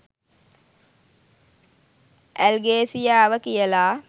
ඇල්ගේසියාව කියලා